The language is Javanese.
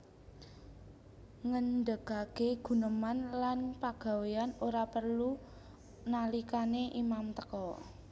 Ngendhegage guneman lan pagawean ora prelu nalikane imam teka